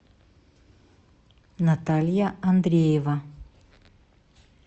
наталья андреева